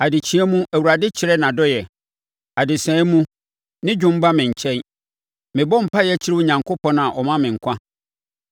Adekyeɛ mu Awurade kyerɛ nʼadɔeɛ; adesaeɛ mu ne dwom ba me nkyɛn. Mebɔ mpaeɛ kyerɛ Onyankopɔn a ɔma me nkwa.